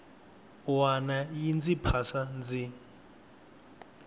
wana yi ndzi phasa ndzi